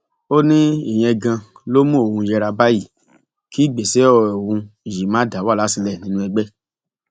ó ní ìyẹn ganan ló mú òun yéra báyìí kí ìgbésẹ òun yìí má dá wàhálà sílẹ nínú ẹgbẹ